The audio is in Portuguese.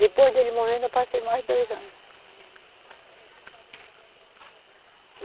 Depois dele morrendo eu passei mais dois anos.